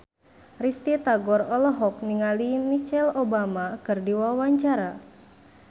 Risty Tagor olohok ningali Michelle Obama keur diwawancara